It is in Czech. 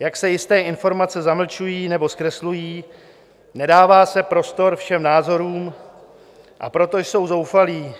jak se jisté informace zamlčují nebo zkreslují, nedává se prostor všem názorům, a proto jsou zoufalí.